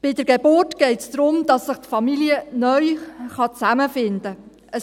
Bei der Geburt geht es darum, dass sich die Familie neu zusammenfinden kann.